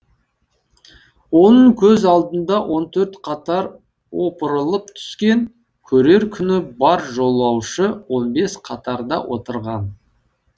оның көз алдында он төрт қатар опырылып түскен көрер күні бар жолаушы он бес қатарда отырған